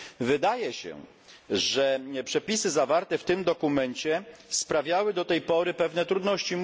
Wydaje się, że przepisy zawarte w tym dokumencie sprawiały do tej pory pewne trudności.